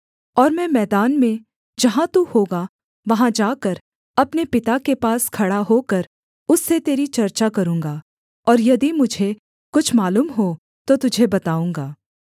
और मैं मैदान में जहाँ तू होगा वहाँ जाकर अपने पिता के पास खड़ा होकर उससे तेरी चर्चा करूँगा और यदि मुझे कुछ मालूम हो तो तुझे बताऊँगा